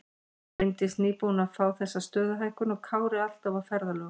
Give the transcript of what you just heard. Bryndís nýbúin að fá þessa stöðuhækkun og Kári alltaf á ferðalögum.